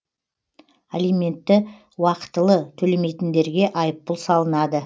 алиментті уақытылы төлемейтіндерге айыппұл салынады